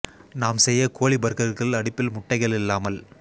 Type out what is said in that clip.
நாம் செய்ய கோழி பர்கர்கள் அடுப்பில் முட்டைகள் இல்லாமல்